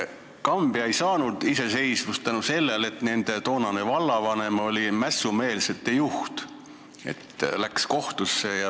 Kambja ei saanud iseseisvust seetõttu, et nende toonane vallavanem oli mässumeelsete juht, läks kohtusse.